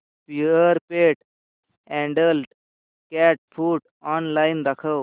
Purepet adult cat food online दाखव